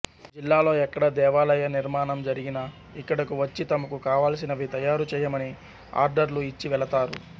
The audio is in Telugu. జిల్లాలో ఎక్కడ దేవాలయ నిర్మాణం జరిగినా ఇక్కడకు వచ్చి తమకు కావాల్సినవి తయారు చేయమని ఆర్డర్లు ఇచ్చి వెళతారు